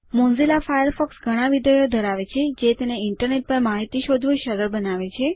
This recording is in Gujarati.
મોઝીલા ફાયરફોક્સ ઘણા વિધેયો ધરાવે છે જે તેને ઇન્ટરનેટ પર માહિતી શોધવું સરળ બનાવે છે